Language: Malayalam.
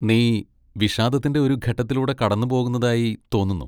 നീ വിഷാദത്തിന്റെ ഒരു ഘട്ടത്തിലൂടെ കടന്നുപോകുന്നതായി തോന്നുന്നു.